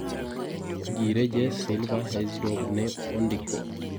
Ngire Jes silva Herzog ne ondiko.